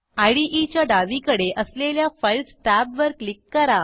इदे च्या डावीकडे असलेल्या Filesटॅब वर क्लिक करा